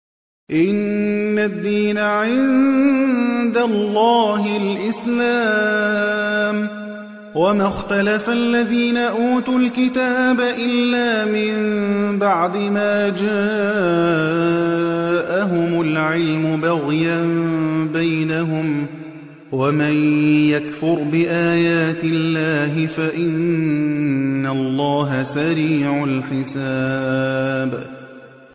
إِنَّ الدِّينَ عِندَ اللَّهِ الْإِسْلَامُ ۗ وَمَا اخْتَلَفَ الَّذِينَ أُوتُوا الْكِتَابَ إِلَّا مِن بَعْدِ مَا جَاءَهُمُ الْعِلْمُ بَغْيًا بَيْنَهُمْ ۗ وَمَن يَكْفُرْ بِآيَاتِ اللَّهِ فَإِنَّ اللَّهَ سَرِيعُ الْحِسَابِ